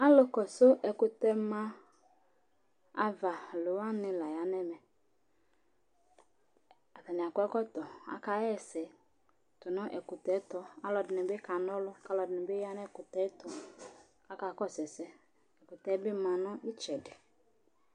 Alu kɔsu ɛkʋtɛ ma ava alu waŋi la ya ŋu ɛmɛ Ataŋi akɔ ɛkɔtɔ Aka hɛsɛ tʋnu ɛkutɛ tu Alʋɛdìní bi kana ɔlu Alʋɛdìní bi ya ŋu ɛkʋtɛ tu Akakɔsu ɛsɛ Ɛkʋtɛ bi ma ŋu itsɛɖi